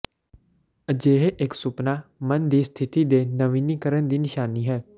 ਅਜਿਹੇ ਇੱਕ ਸੁਪਨਾ ਮਨ ਦੀ ਸਥਿਤੀ ਦੇ ਨਵੀਨੀਕਰਨ ਦੀ ਨਿਸ਼ਾਨੀ ਹੈ